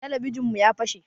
Talabijin mu ya fase